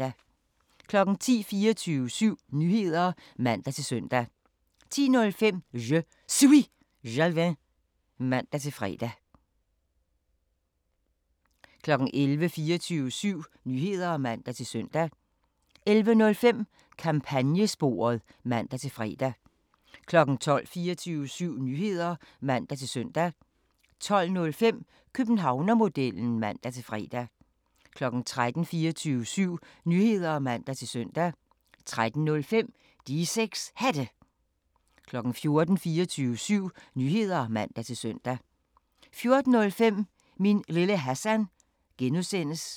10:00: 24syv Nyheder (man-søn) 10:05: Je Suis Jalving (man-fre) 11:00: 24syv Nyheder (man-søn) 11:05: Kampagnesporet (man-fre) 12:00: 24syv Nyheder (man-søn) 12:05: Københavnermodellen (man-fre) 13:00: 24syv Nyheder (man-søn) 13:05: De 6 Hatte 14:00: 24syv Nyheder (man-søn) 14:05: Min Lille Hassan (G)